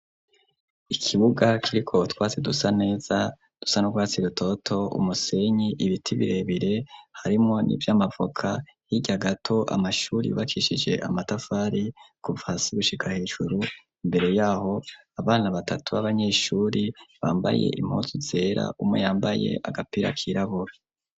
Ikibuga kiriko utwasi dusa neza dusa nurwatsi rutoto, ku umusenyi ibiti birebire harimwo n'ivy'amavoka, hirya gato amashuri yubakishije amatafari kuva hasi gushika hejuru, imbere yaho abana batatu b'abanyeshuri bambaye impuzu zera, umwe yambaye agapira kirabura.